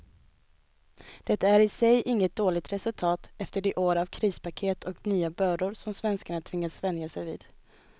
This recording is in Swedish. Det är i sig inget dåligt resultat efter de år av krispaket och nya bördor som svenskarna tvingats vänja sig vid.